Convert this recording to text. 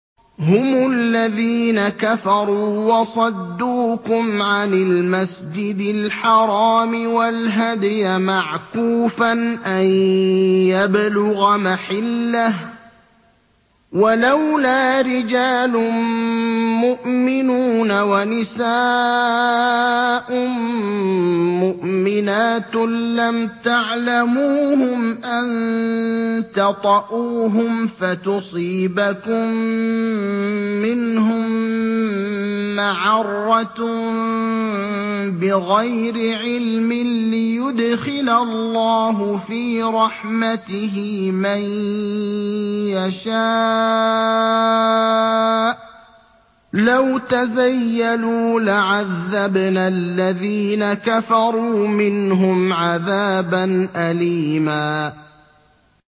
هُمُ الَّذِينَ كَفَرُوا وَصَدُّوكُمْ عَنِ الْمَسْجِدِ الْحَرَامِ وَالْهَدْيَ مَعْكُوفًا أَن يَبْلُغَ مَحِلَّهُ ۚ وَلَوْلَا رِجَالٌ مُّؤْمِنُونَ وَنِسَاءٌ مُّؤْمِنَاتٌ لَّمْ تَعْلَمُوهُمْ أَن تَطَئُوهُمْ فَتُصِيبَكُم مِّنْهُم مَّعَرَّةٌ بِغَيْرِ عِلْمٍ ۖ لِّيُدْخِلَ اللَّهُ فِي رَحْمَتِهِ مَن يَشَاءُ ۚ لَوْ تَزَيَّلُوا لَعَذَّبْنَا الَّذِينَ كَفَرُوا مِنْهُمْ عَذَابًا أَلِيمًا